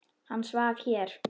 Hann svaf hér.